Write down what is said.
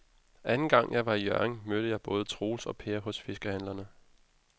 Anden gang jeg var i Hjørring, mødte jeg både Troels og Per hos fiskehandlerne.